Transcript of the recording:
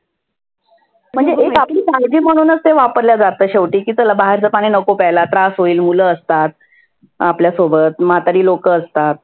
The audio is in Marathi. म्हणजे पाणी हे वापरल्याच जातं शेवटी. की तुला बाहेरच पाणि नको प्यायला त्रास होईल मुल असतात. आपल्या सोबत म्हातारी लोक असतात.